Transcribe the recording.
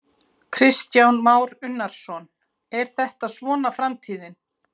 Kristján Már Unnarsson: Er þetta svona framtíðin?